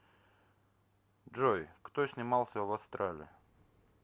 джой кто снимался в астрале